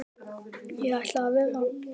Ég ætla að verða bóndi